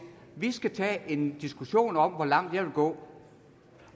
vi skal tage en diskussion om hvor langt jeg vil gå